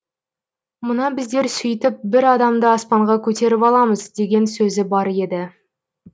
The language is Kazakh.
мына біздер сөйтіп бір адамды аспанға көтеріп аламыз деген сөзі бар еді